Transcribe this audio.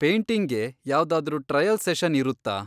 ಪೇಟಿಂಗ್ಗೆ ಯಾವ್ದಾದ್ರೂ trial session ಇರುತ್ತಾ?